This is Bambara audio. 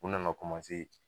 U nana